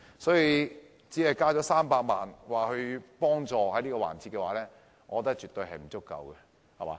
因此，只增加300萬元協助旅遊業，我覺得絕對不足夠。